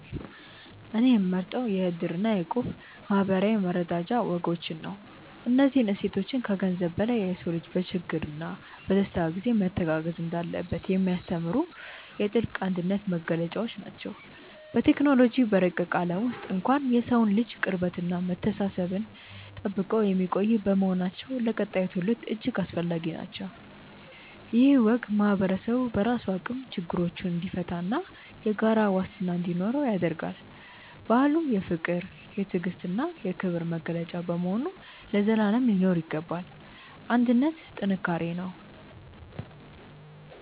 እኔ የምመርጠው የ"እድር" እና የ"እቁብ" የማኅበራዊ መረዳጃ ወጎችን ነው። እነዚህ እሴቶች ከገንዘብ በላይ የሰው ልጅ በችግርና በደስታ ጊዜ መተጋገዝ እንዳለበት የሚያስተምሩ የጥልቅ አንድነት መገለጫዎች ናቸው። በቴክኖሎጂ በረቀቀ ዓለም ውስጥ እንኳን የሰውን ልጅ ቅርበትና መተሳሰብ ጠብቀው የሚቆዩ በመሆናቸው ለቀጣዩ ትውልድ እጅግ አስፈላጊ ናቸው። ይህ ወግ ማኅበረሰቡ በራሱ አቅም ችግሮችን እንዲፈታና የጋራ ዋስትና እንዲኖረው ያደርጋል። ባህሉ የፍቅር፣ የትዕግስትና የክብር መገለጫ በመሆኑ ለዘላለም ሊኖር ይገባል። አንድነት ጥንካሬ ነው።